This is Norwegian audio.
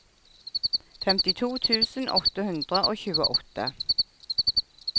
femtito tusen åtte hundre og tjueåtte